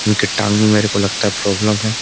उनके टांग में मेरे को लगता है प्रॉब्लम है।